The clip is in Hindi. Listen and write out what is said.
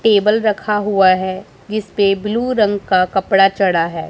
टेबल रखा हुआ है जिसपे ब्लू रंग का कपड़ा चढ़ा है।